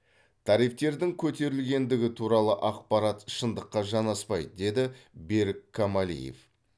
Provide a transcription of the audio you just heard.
тарифтердің көтерілгендігі туралы ақпарат шындыққа жаңаспайды деді берік камалиев